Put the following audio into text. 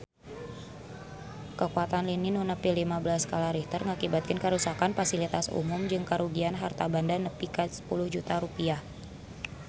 Kakuatan lini nu nepi lima belas skala Richter ngakibatkeun karuksakan pasilitas umum jeung karugian harta banda nepi ka 10 juta rupiah